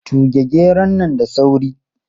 Tuge geron nan da sauri!